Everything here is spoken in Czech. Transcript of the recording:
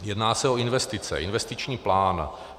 Jedná se o investice, investiční plán.